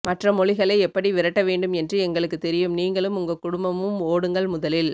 மற்ற மொழிகளை எப்படி விரட்ட வேண்டும் என்று எங்களுக்கு தெரியும் நீங்களும் உங்க குடும்பமும் ஓடுங்கள் முதலில்